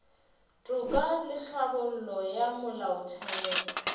toka le tlhabollo ya molaotheo